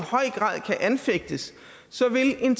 anfægtes så vil en